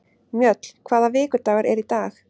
Mjöll, hvaða vikudagur er í dag?